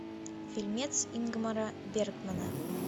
фильмец ингмара бергмана